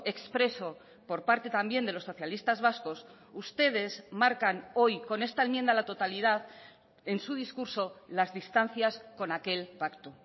expreso por parte también de los socialistas vascos ustedes marcan hoy con esta enmienda a la totalidad en su discurso las distancias con aquel pacto